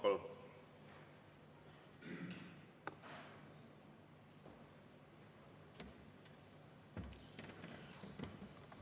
Palun!